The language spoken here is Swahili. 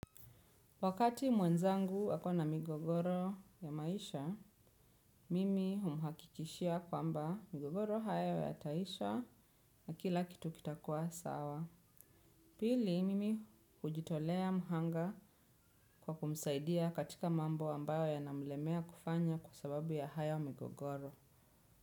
Wakati mwenzangu wakona migogoro ya maisha, mimi humuhakikishia kwamba migogoro haya yataisha na kila kitu kitakua sawa. Pili, mimi hujitolea muhanga kwa kumsaidia katika mambo ambayo yanamlemea kufanya kwa sababu ya haya ya migogoro.